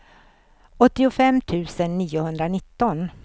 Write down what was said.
åttiofem tusen niohundranitton